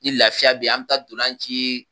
Ni lafiya bɛ an bɛ taa dolanci!